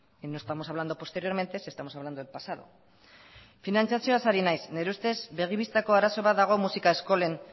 y no estamos hablando posteriormente si estamos hablando del pasado finantziatzioaz ari naiz nire ustez begi bistako arazo bat dago musika eskolen